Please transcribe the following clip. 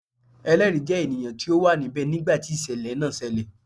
Ẹlẹri jẹ ènìyàn ti o wa níbẹ nigba ti isẹlẹ náà ṣẹlẹ